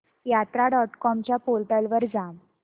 यात्रा dot com च्या portal वर जा